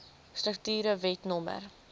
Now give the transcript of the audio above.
strukture wet no